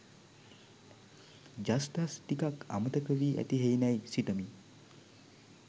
ඡස්දස් ටිකක් අමතක වී ඇති හෙයිනැයි සිතමි.